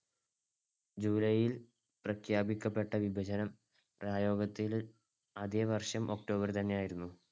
july യിൽ പ്രഖ്യാപിക്കപ്പെട്ട വിഭജനം പ്രയോഗത്തിൽ അതെ വർഷം october ൽ തന്നെയായിരുന്നു.